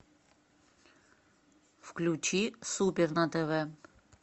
включи супер на тв